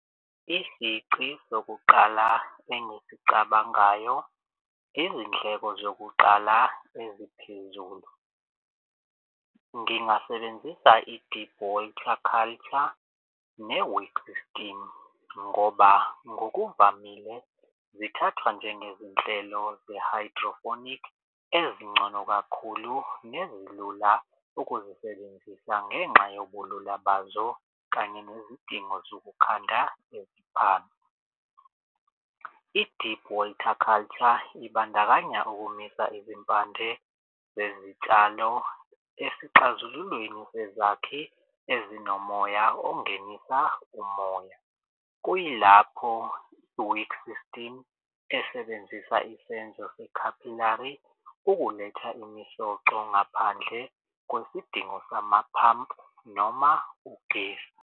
Isici sokuqala engisicabangayo izindleko zokuqala eziphezulu. Ngingasebenzisa i-deep water culture ne-weed system ngoba ngokuvamile zithathwa nje ngezinhlelo ze-hydroponic ezingcono kakhulu nezilula ukuzisebenzisa ngenxa yobulula bazo, kanye nezidingo zokukhanda eziphansi. I-deep water culture ibandakanya ukumisa izimpande zezitshalo esixazululweni sezakhi ezinomoya ongenisa umoya. Kuyilapho i-weed system esebenzisa isenzo se-capillary ukuletha imisoco ngaphandle kwesidingo samaphampu noma ugesi.